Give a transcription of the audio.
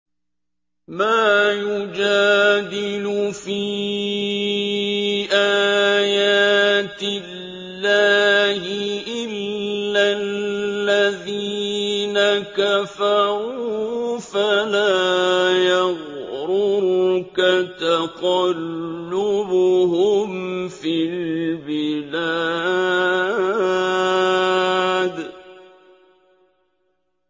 مَا يُجَادِلُ فِي آيَاتِ اللَّهِ إِلَّا الَّذِينَ كَفَرُوا فَلَا يَغْرُرْكَ تَقَلُّبُهُمْ فِي الْبِلَادِ